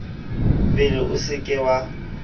bele o se ke wa